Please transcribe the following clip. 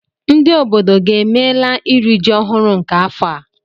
Ndị obodo gị emeela iri ji ọhụrụ nke afọ a?